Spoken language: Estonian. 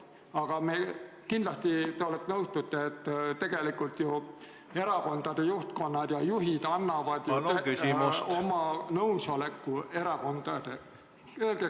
Aga kindlasti te nõustute, et erakondade juhid annavad oma nõusoleku fraktsioonide algatustele.